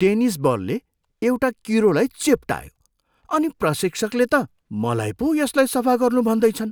Tennis बलले एउटा किरोलाई चेप्टायो अनि प्रशिक्षकले त मलाई पो यसलाई सफा गर्नू भन्दैछन्।